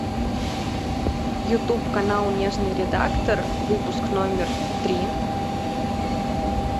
ютуб канал нежный редактор выпуск номер три